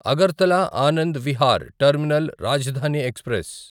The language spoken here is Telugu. Agartala Anand Vihar terminal Rajdhani express